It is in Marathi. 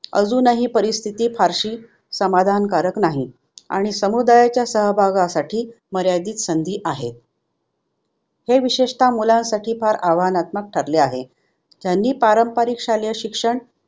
अजूनही परिस्थिति फारशी समाधानकारक नाही आणि समुदायाच्या सहभागासाठी मर्यादित संधी आहे. हे विशेषत मुलांसाठी फार आव्हानात्मक ठरले आहे. ह्यांनी पारंपरिक शालेय शिक्षण